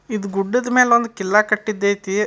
ಇದ್ ಗುಡ್ಡದ್ ಮೇಲೊಂದ್ ಕಿಲ್ಲಾ ಕಟ್ಟಿದ್ದೈತಿ.